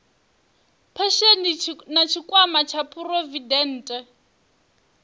phesheni na tshikwama tsha phurovidende